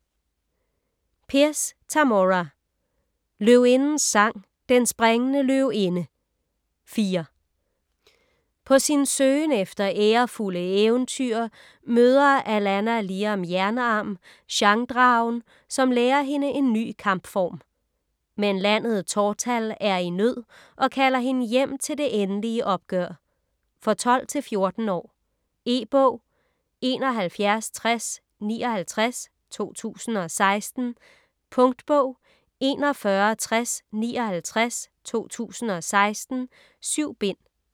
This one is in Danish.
Pierce, Tamora: Løvindens sang: Den springende løvinde: 4 På sin søgen efter ærefulde eventyr møder Alanna Liam Jernarm, Shang-Dragen, som lærer hende en ny kampform. Men landet Tortall er i nød og kalder hende hjem til det endelige opgør. For 12-14 år. E-bog 716059 2016. Punktbog 416059 2016. 7 bind.